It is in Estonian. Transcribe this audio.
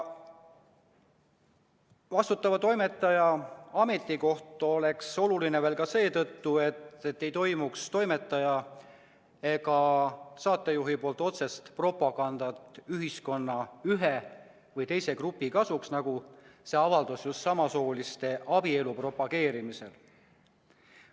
Vastutava toimetaja ametikoht oleks oluline ka seetõttu, et ei toimuks toimetaja ega saatejuhi otsest propagandat ühiskonna ühe või teise grupi kasuks, nagu see avaldus just samasooliste abielu propageerimisel.